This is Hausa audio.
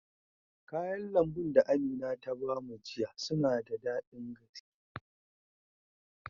Kayan lambun da Amina ta ba mu jiya suna da daɗin gaske.